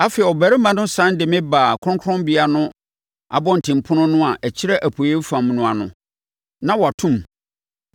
Afei, ɔbarima no sane de me baa kronkronbea no abɔntenpono no a ɛkyerɛ apueeɛ fam no ano, na wɔato mu.